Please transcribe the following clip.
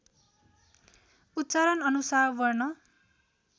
उच्चारणअनुसार वर्ण